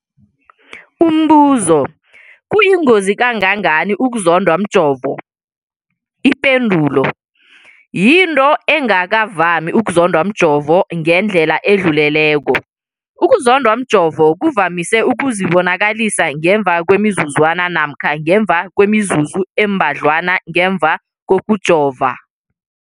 Umbuzo, kuyingozi kangangani ukuzondwa mjovo? Ipendulo, yinto engakavami ukuzondwa mjovo ngendlela edluleleko. Ukuzondwa mjovo kuvamise ukuzibonakalisa ngemva kwemizuzwana namkha ngemva kwemizuzu embadlwana ngemva kokujova.